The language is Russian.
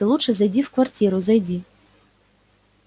ты лучше зайди в квартиру зайди